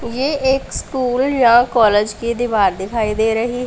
ये एक स्कूल या कॉलेज की दीवार दिखाई दे रही--